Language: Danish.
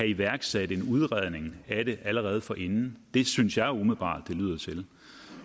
iværksat en udredning af det allerede forinden det synes jeg umiddelbart det lyder til